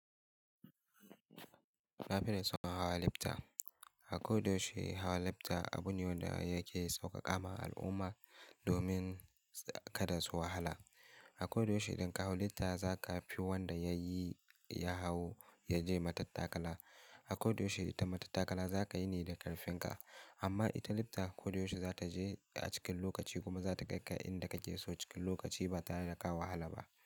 Na fiye da son hawa lifta. A ko da yaushe hawa lifta abune wanda yake sauƙaƙa ma al'umma domin kada su wahala. A ko da yaushe idan ka hau lifta za ka fi wanda ya yi, ya hau ya je matattakala. A ko da yaushe ita matattakala za ka yi ne da ƙarfin ka. Amma ita lifta ko da yaushe za ta je a cikin lokaci kuma za ta kai ka inda kake so cikin lokaci ba tare da ka wahala ba.